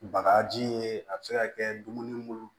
Bagaji ye a bɛ se ka kɛ dumuni mun